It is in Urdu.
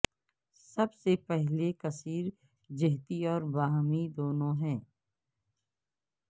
سب سے پہلے کثیر جہتی اور باہمی دونوں ہے